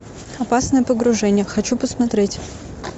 опасное погружение хочу посмотреть